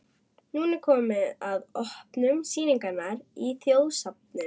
Nú er komið að opnun sýningarinnar í Þjóðminjasafni.